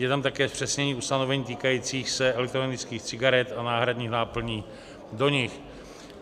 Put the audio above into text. Je tam také zpřesnění ustanovení týkajících se elektronických cigaret a náhradních náplní do nich.